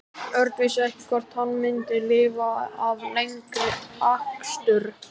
Örn vissi ekki hvort hann myndi lifa af lengri akstur.